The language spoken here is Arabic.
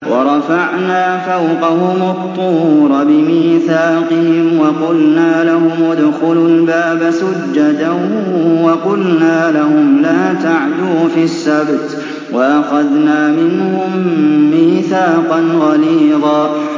وَرَفَعْنَا فَوْقَهُمُ الطُّورَ بِمِيثَاقِهِمْ وَقُلْنَا لَهُمُ ادْخُلُوا الْبَابَ سُجَّدًا وَقُلْنَا لَهُمْ لَا تَعْدُوا فِي السَّبْتِ وَأَخَذْنَا مِنْهُم مِّيثَاقًا غَلِيظًا